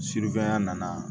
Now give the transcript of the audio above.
ya nana